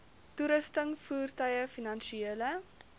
toerusting voertuie finansiële